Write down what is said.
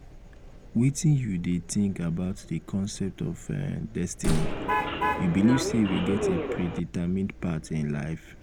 wetin you dey think about di concept of um destiny you believe say we get a um predetermined path in um life?